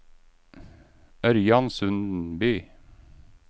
Ørjan Sundby